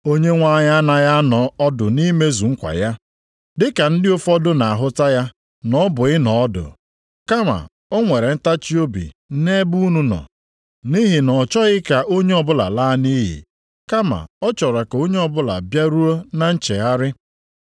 Onyenwe anyị anaghị anọ ọdụ nʼimezu nkwa ya, dịka ndị ụfọdụ nʼahụta ya na ọ bụ ịnọ ọdụ. Kama o nwere ntachiobi nʼebe unu nọ, nʼihi na ọ chọghị ka onye ọbụla laa nʼiyi, kama ọ chọrọ ka onye ọbụla bịaruo na nchegharị.